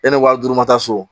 Yanni wari d'u ma taa so